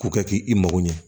K'u kɛ k'i mago ɲɛ